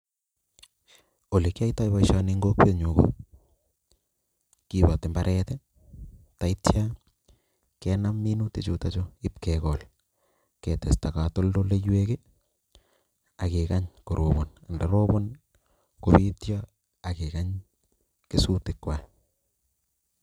Ole kiyoytoy poisioni eng' kokwenyun: kipati imbaret, neityo kenam minutik chutok i'p kegol ketesta katoltoldoywek ake gany koropan, ndaropan kong'etyo akegang' keswotik kwach.